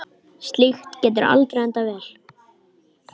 Slíkt getur aldrei endað vel.